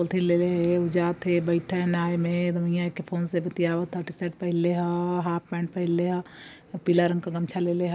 पॉलथिन लेले है उ जात है बेठे ह नाय में। फोन से बतिवाता शर्ट पहनले हा हाफ पैंट पहनले ह। पीला रंग का गमछा लेले ह।